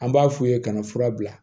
An b'a f'u ye kana fura bila